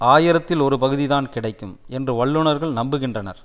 ஆயிரத்தில் ஒரு பகுதி தான் கிடைக்கும் என்று வல்லுனர்கள் நம்புகின்றனர்